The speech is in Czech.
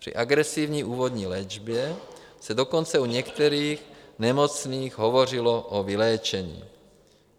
Při agresivní úvodní léčbě se dokonce u některých nemocných hovořilo o vyléčení.